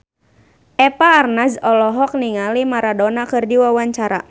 Eva Arnaz olohok ningali Maradona keur diwawancara